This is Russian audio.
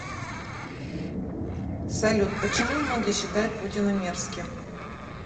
салют почему многие считают путина мерзким